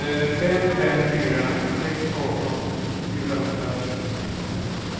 fem fem fyra sex arton fyrahundrafemtiofem